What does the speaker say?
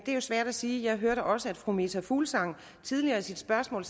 er svært at sige jeg hørte også at fru meta fuglsang tidligere i sit spørgsmål